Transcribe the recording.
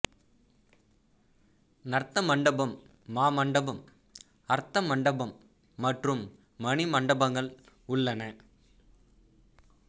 நர்த்த மண்டபம் மாமண்டபம் அர்த்த மண்டபம் மற்றும் மணி மண்டபங்கள் உள்ளன